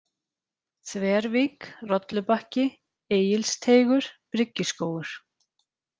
Þvervík, Rollubakki, Egilsteigur, Bryggjuskógur